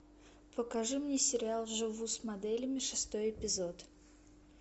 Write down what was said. покажи мне сериал живу с моделями шестой эпизод